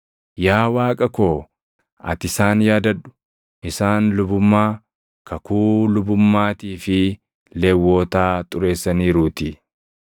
Yaa Waaqa koo ati isaan yaadadhu; isaan lubummaa, kakuu lubummaatii fi Lewwotaa xureessaniiruutii.